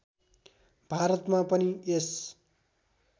भारतमा पनि यस